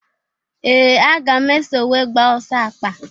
Ee! Aga m eso wee gbaa ọsọ akpa.